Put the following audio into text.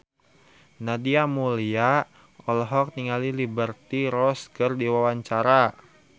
Nadia Mulya olohok ningali Liberty Ross keur diwawancara